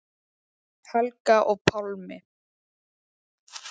Helga og Pálmi.